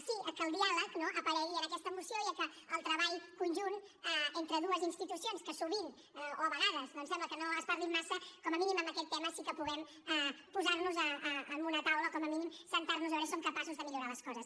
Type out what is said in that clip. sí a que el diàleg no aparegui en aquesta moció i a que el treball conjunt entre dues institucions que sovint o a vegades doncs sembla que no es parlin massa com a mínim amb aquest tema sí que puguem posar nos en una taula o com a mínim asseure’ns a veure si som capaços de millorar les coses